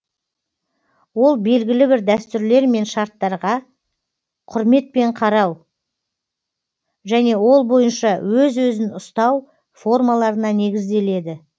ол белгілі бір дәстүрлер мен шарттаға құрметпен қарау және ол бойынша өз өзін ұстау формаларына негізделеді